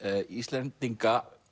Íslendinga